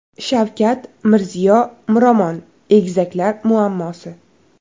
Shavkat, Mirziyo, Miromon egizaklar muammosi.